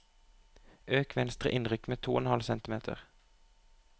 Øk venstre innrykk med to og en halv centimeter